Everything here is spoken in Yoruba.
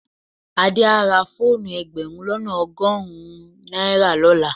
Adé á ra fóònù ẹgbẹ̀rún lọ́nà ọgọ́rùn-ún náírà lọ́la.